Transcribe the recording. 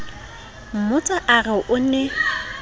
mmotsa a re o ne